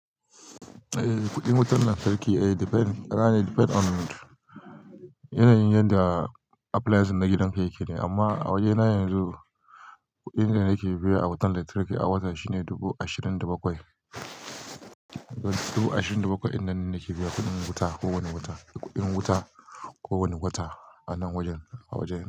Eh, kuɗin wutan lantarki depend, ka gane depend on yanayin yadda applience na gidan ka yake ne. Amma a wajena yanzu kuɗin da nake biya a wutan lantarki a wata shine dubu ashirin da bakwai. Dubu ashirin da bakwai dinnan nake biya kuɗin wuta kowane wata, kuɗin wuta kowane wata a nan wajen, a wajena.